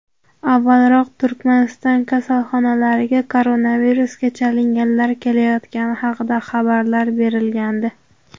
Avvalroq Turkmaniston kasalxonalariga koronavirusga chalinganlar kelayotgani haqida xabarlar berilgandi .